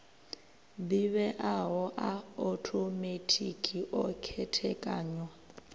ḓivheaho a othomethikhi o khethekanywa